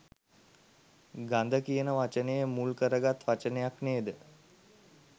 ගඳ කියන වචනය මුල් කරගත් වචනයක් නේ ද?